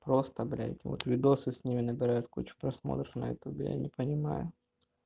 просто блядь вот видео с ними набирают кучу просмотров на ютубе я не понимаю